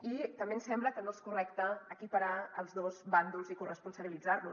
i també ens sembla que no és correcte equiparar els dos bàndols i corresponsabilitzar los